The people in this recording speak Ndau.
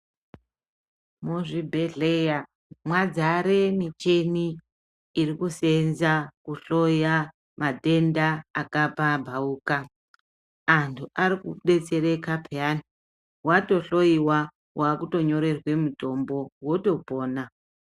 Muzvibhedhleya mwadzare michini iri kusenza kuhloya matenda akapamhauka. Antu arikudetsereka peyani vatohloiwa kutonyorerwa mutombo votopona.